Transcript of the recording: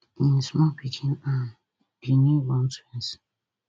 im small pikin and di newborn twins